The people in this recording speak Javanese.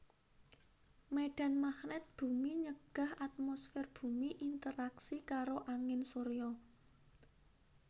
Médhan magnèt bumi nyegah atmosfèr bumi interaksi karo angin surya